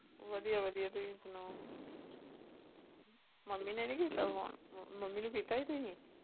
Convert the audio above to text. ਵਧੀਆ ਵਧੀਆ ਤੁਸੀਂ ਸੁਣਾਓ ਮੰਮੀ ਨੇ ਨੀ ਕੀਤਾ phone ਮੰਮੀ ਨੂੰ ਕੀਤਾ ਸੀ ਤੁਸੀਂ?